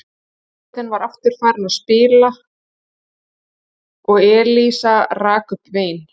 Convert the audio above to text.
Hljómsveitin var aftur farin að spila og Elísa rak upp vein.